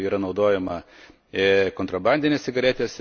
yra naudojama kontrabandinės cigaretės.